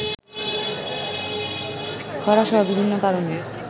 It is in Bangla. খরাসহ বিভিন্ন কারণে